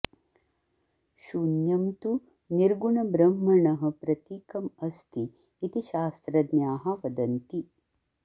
शून्यं तु निर्गुणब्रह्मणः प्रतीकम् अस्ति इति शास्त्रज्ञाः वदन्ति